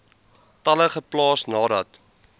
tale geplaas nadat